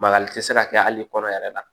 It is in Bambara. Bakari tɛ se ka kɛ hali kɔnɔ yɛrɛ la